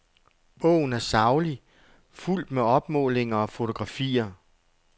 Bogen er saglig, fuldt med opmålinger og fotografier.